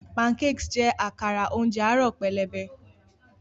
Pancakes jẹ́ àkàrà oúnjẹ àárọ̀ pẹlẹbẹ.